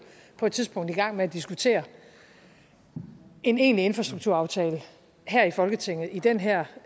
på et tidspunkt skal i gang med at diskutere en egentlig infrastrukturaftale her i folketinget i den her